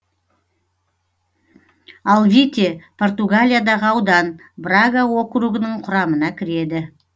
алвите португалиядағы аудан брага округінің құрамына кіреді